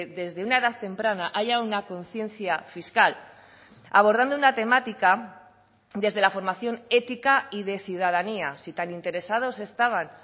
desde una edad temprana haya una conciencia fiscal abordando una temática desde la formación ética y de ciudadanía si tan interesados estaban